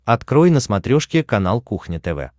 открой на смотрешке канал кухня тв